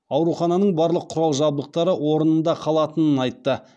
аурухананың барлық құрал жабдықтары орнында қалатынын айтты